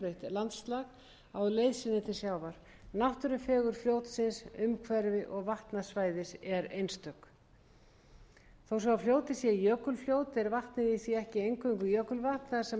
landslag á leið sinni til sjávar náttúrufegurð fljótsins umhverfis og vatnasvæðis er einstök þó svo að fljótið sé jökulfljót er vatnið í því ekki eingöngu jökulvatn þar sem